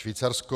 Švýcarsko.